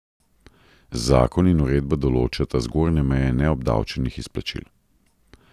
Zakon in uredba določata zgornje meje neobdavčenih izplačil.